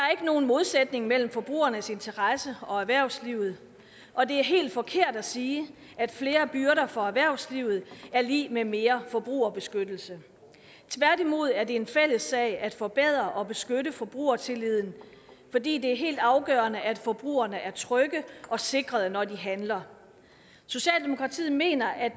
nogen modsætning mellem forbrugernes interesse og erhvervslivet og det er helt forkert at sige at flere byrder for erhvervslivet er lig med mere forbrugerbeskyttelse tværtimod er det en fælles sag at forbedre og beskytte forbrugertilliden fordi det er helt afgørende at forbrugerne er trygge og sikrede når de handler socialdemokratiet mener at